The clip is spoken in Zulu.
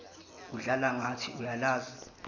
udlala ngathi uyalazi